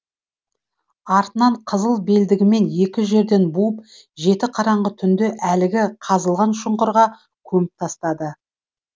артынан қызыл белдігімен екі жерден буып жеті қараңғы түнде әлгі қазылған шұңқырға көміп тастады